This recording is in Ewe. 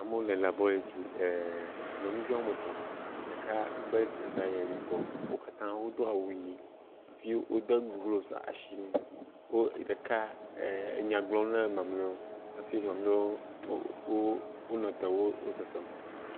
Amewo le labolatri ɛɛɛ, nyɔnuvi woame etɔ̃, ɖeka be ɖeka le yibɔ. Wo katã wodo awu yii hafi wodo glofsi ashi ŋu. Wo ɛɛ ɖeka enya gblɔm na mamlɛwo hafi mamlɛwo, o, wo, wonɔ te wo sesem.